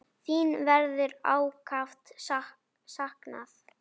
Þín verður ákaft saknað.